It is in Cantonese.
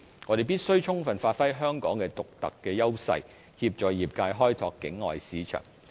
我們必須充分發揮香港的獨特優勢，協助業界開拓境外市場。